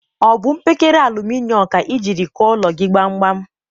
Ọ bụ mpekere aluminom ka i jiri kụọ ụlọ gị gbamgbam?